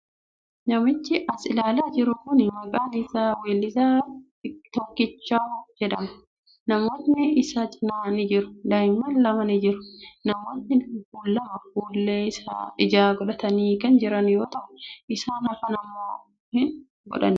Namichi as ilaalaa jiru kuni maqaan isaa weellisaa Tookichaw jedhama. Namootni isa cinaa ni jiru. Daa'imman lama ni jiru. Namootni lama fuullee ijaa godhatanii kan jiran yoo ta'u, isaan hafan immoo hin godhanne.